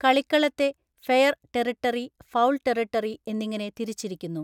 കളിക്കളത്തെ 'fair territory', 'foul territory' എന്നിങ്ങനെ തിരിച്ചിരിക്കുന്നു.